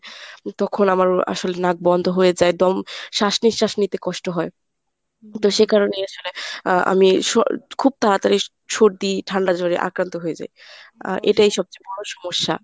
তখন আমার আসলে নাক বন্ধ হয়ে যায় দম শ্বাস নিঃশ্বাস নিতে কষ্ট হয়। সে কারণেই আসলে আহ আমি খুব তাড়াতাড়ি সর্দি ঠান্ডা জ্বরে আক্রান্ত হয়ে যাই। আর এটাই সবচেয়ে বড় সমস্যা।